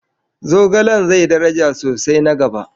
Zogalen zai daraja sosai na gaba.